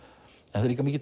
það er líka